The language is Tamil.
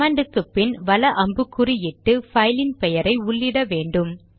கமாண்ட் க்கு பின் வல அம்புக்குறி இட்டு பைலின் பெயரை உள்ளிட்ட வேண்டும்